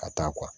Ka taa